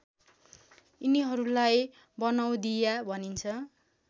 यिनीहरूलाई बनौधिया भनिन्छ